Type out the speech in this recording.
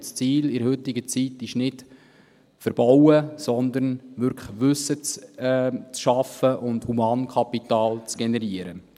Und das Ziel in der heutigen Zeit ist nicht, zu verbauen, sondern wirklich Wissen zu schaffen und Humankapital zu generieren.